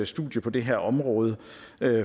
studie på det her område